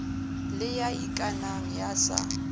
le ya ikanang ya sa